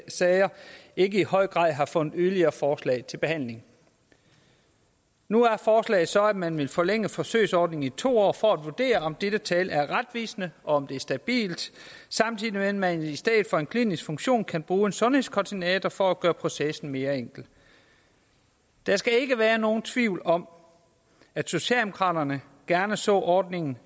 sager ikke i høj grad har fundet yderligere forslag til behandling nu er forslaget så at man vil forlænge forsøgsordningen i to år for at vurdere om dette tal er retvisende og om det er stabilt samtidig med at man i stedet for en klinisk funktion kan bruge en sundhedskoordinator for at gøre processen mere enkel der skal ikke være nogen tvivl om at socialdemokraterne gerne så ordningen